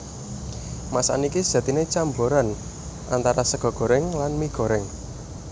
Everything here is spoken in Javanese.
Masakan iki sejatiné camboran antara sega gorèng lan mie gorèng